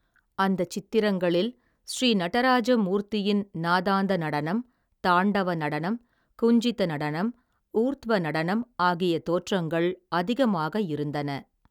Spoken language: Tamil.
அந்தச் சித்திரங்களில், ஸ்ரீநடராஜ மூர்த்தியின், நாதாந்த நடனம், தாண்டவ நடனம், குஞ்சித நடனம், ஊர்த்வ நடனம், ஆகிய தோற்றங்கள் அதிகமாக இருந்தன.